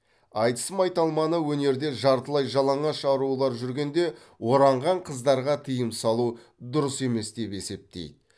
айтыс майталманы өнерде жартылай жалаңаш арулар жүргенде оранған қыздарға тыйым салу дұрыс емес деп есептейді